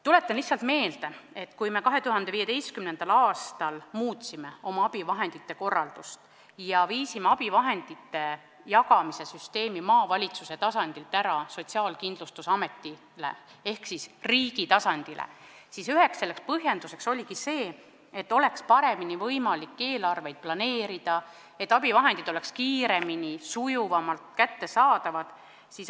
Tuletan lihtsalt meelde, et kui me 2015. aastal muutsime abivahendite süsteemi korraldust ja viisime abivahendite jagamise süsteemi maavalitsuse tasandilt SKA ehk riigi tasandile, siis üheks põhjenduseks oligi see, et oleks paremini võimalik eelarvet planeerida, et abivahendid oleks kiiremini ja sujuvamalt kättesaadavad.